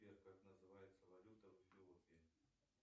сбер как называется валюта в эфиопии